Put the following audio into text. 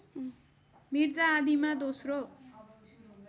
मिर्जा आदिमा दोस्रो